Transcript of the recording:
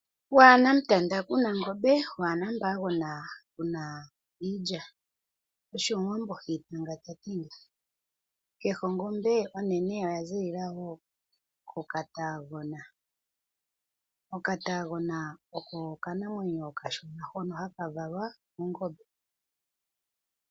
Waana mutanda kuna ngombe waana mpagona kuna iilya . Osho omuwambo ha itanga tati nga . Kehe ongombe onene oyazi ziilila woo koka taagona . Oka taagona oko okanamwenyo okashona hono haka valwa kongombe.